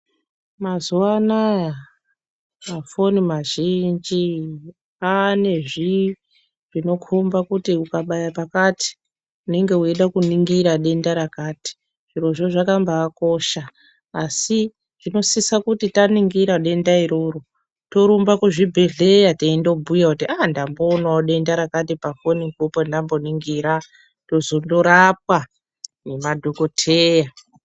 Mazuwa anaya mafoni mazhinji ane zvi zvinokhomba kuti ukabaya pakati unenge weida kuningira denda rakati zvirozvo zvakambakosha asi zvinosisa kuti taningira denda iroro torumba kuzvibhedhlera teindobhuya kuti ahh ndamboonawo denda rakati pafonipo pandaningira tozondorapwa ngemadhokoteya.